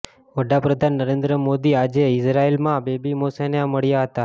વડાપ્રધાન નરેન્દ્ર મોદી આજે ઇઝરાયેલમાં બેબી મોશેને મળ્યા હતા